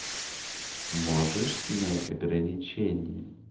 можешь снять ограничение